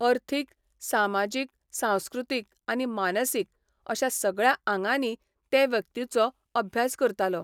अर्थीक, सामाजीक, सांस्कृतीक आनी मानसीक अश्या सगळ्या आंगांनी ते व्यक्तिचो अभ्यास करतालो.